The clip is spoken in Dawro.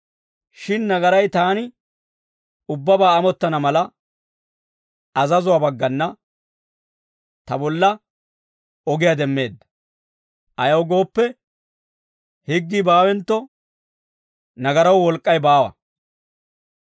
Shin nagaray taani ubbabaa amottana mala, azazuwaa baggana ta bolla ogiyaa demmeedda; ayaw gooppe, higgii baawentto, nagaraw wolk'k'ay baawa.